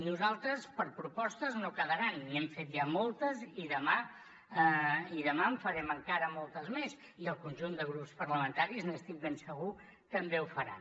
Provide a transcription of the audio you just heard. nosaltres per propostes no quedaran n’hem fet ja moltes i demà en farem encara moltes més i el conjunt de grups parlamentaris n’estic ben segur també ho farà